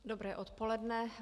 Dobré odpoledne.